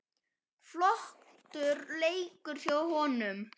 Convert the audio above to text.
Flottur leikur hjá honum.